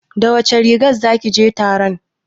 Da wace rigar zaki je taron?